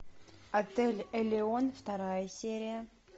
отель элеон вторая серия